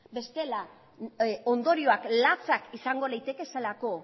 bestela ondorioak latsak izango litekeelako